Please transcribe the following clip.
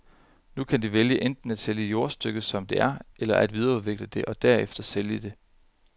Nu kan de vælge enten at sælge jordstykket som det er, eller at videreudvikle det og derefter sælge det.